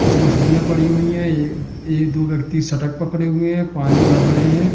कुछ मछलियां पड़ी हुई है ये एक दो लड़की सटक पकड़े हुए है पानी भर रहे हैं।